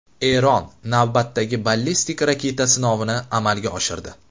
Eron navbatdagi ballistik raketa sinovini amalga oshirdi.